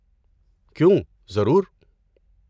کیوں، ضرور۔